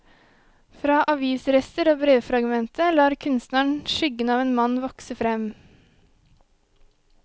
Fra avisrester og brevfragmentet lar kunstneren skyggen av en mann vokse frem.